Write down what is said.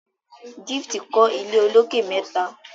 Gift kò ilé olokè mẹta.